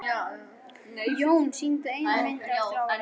Jón sýndi eina mynd eftir árið.